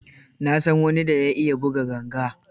Na san wani da ya iya buga ganga.